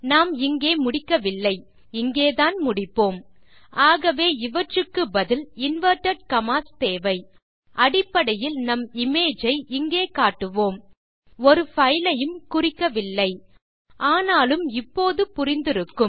நாம் இங்கே முடிக்கவில்லைஇங்கேதான் முடிப்போம் ஆகவே இவற்றுக்கு பதில் இன்வெர்ட்டட் கம்மாஸ் தேவை அடிப்படையில் நம் இமேஜ் ஐ இங்கே காட்டுவோம் ஒரு பைல் ஐயும் குறிக்கவில்லை ஆனாலும் இப்போது புரிந்திருக்கும்